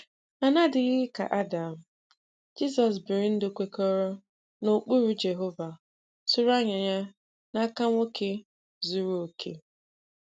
Ma n’adịghị ka Adam, Jizọs biri ndụ kwekọrọ n’ụkpụrụ Jehova tụrụ anya ya n’aka nwoke zuru okè.